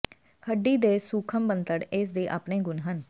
ਹੱਡੀ ਦੇ ਸੂਖਮ ਬਣਤਰ ਇਸ ਦੇ ਆਪਣੇ ਗੁਣ ਹਨ